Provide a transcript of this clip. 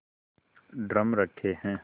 drum रखे हैं